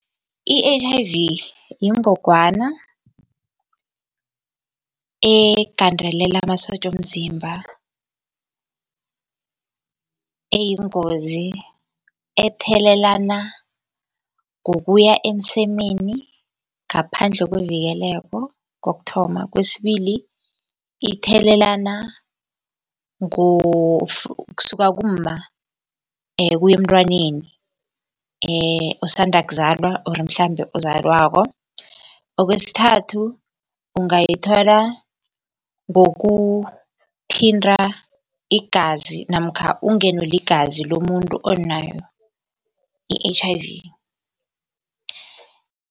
I-H_I_V yingogwana egandelela amasotja womzimba eyingozi, ethelelana ngokuya emsemeni ngaphandle kwevikeleko, kokuthoma. Kwesibili, ithelelana kusuka kumma kuya emntwaneni osanda kuzalwa or mhlambe ozalwako. Okwesithathu, ungayithola ngokuthinta igazi namkha ungenwe ligazi lomuntu onayo i-H_I_V.